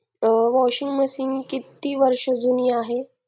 washing machine किती वर्ष जुनी आहे